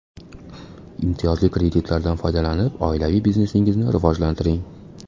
Imtiyozli kreditlardan foydalanib, oilaviy biznesingizni rivojlantiring!